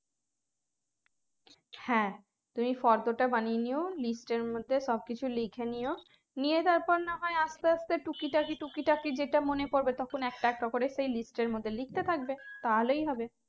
হ্যাঁ তুমি ফর্দটা বানিয়ে নিও list এর মধ্যে সব কিছু লিখে নিও নিয়ে তারপর না হয় আস্তে আস্তে টুকিটাকি টুকিটাকি যেটা মনে পরবে তখন একটা একটা করে সেই list এর মধ্যে লিখতে থাকবে তাহলেই হবে